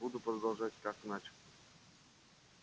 буду продолжать как начал